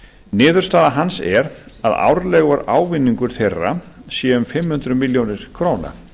niðurstaða hans er að árlegur ávinningur þeirra sé um fimm hundruð milljóna króna